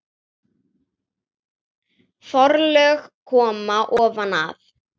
Forlög koma ofan að